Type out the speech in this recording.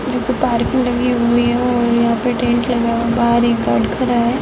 जो की पार्किंग लगी हुई है और यहाँ पे टेंट लगा हुआ है | बाहर एक गार्ड खड़ा है।